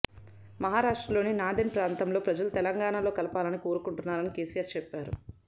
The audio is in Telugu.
మహారాష్ట్రలోని నాందేడ్ ప్రాంతంలోని ప్రజలు తెలంగాణలో కలపాలని కోరుకొంటున్నారని కేసీఆర్ చెప్పారు